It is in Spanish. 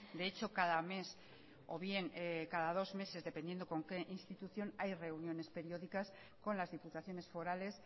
de hecho cada mes o bien cada dos meses dependiendo con qué institución hay reuniones periódicas con las diputaciones forales